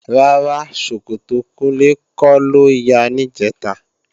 Rárá, ṣòkòtò Kúnlé kọ́ ló ya níjẹ̀ta